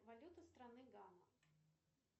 валюта страны гана